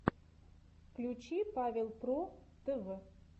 включи павел про тв